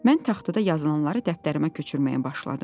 Mən taxtada yazılanları dəftərimə köçürməyə başladım.